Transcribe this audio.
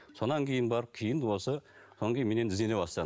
содан кейін барып кейін осы содан кейін мен енді іздене бастадым